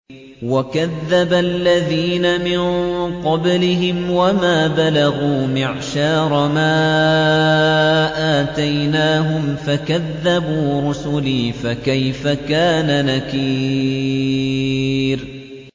وَكَذَّبَ الَّذِينَ مِن قَبْلِهِمْ وَمَا بَلَغُوا مِعْشَارَ مَا آتَيْنَاهُمْ فَكَذَّبُوا رُسُلِي ۖ فَكَيْفَ كَانَ نَكِيرِ